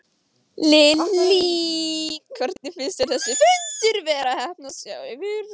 Lillý: Hvernig finnst þér þessi fundur vera að heppnast hjá ykkur?